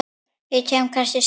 Ég kem kannski seinna